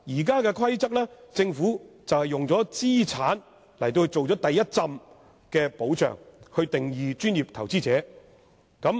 根據現行《規則》，政府以資產作為第一重保障，訂定了"專業投資者"的定義。